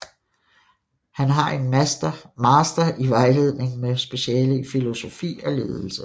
Han har en master i vejledning med speciale i filosofi og ledelse